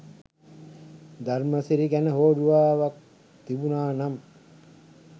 ධර්මසිරි ගැන හෝඩුවාවක්වත් තිබුණා නම්